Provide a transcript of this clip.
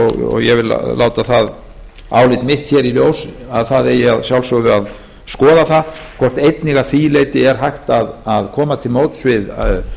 og ég vil láta það álit mitt hér í ljós að það eigi að sjálfsögðu að skoða það hvort einnig að því leyti er hægt að koma til móts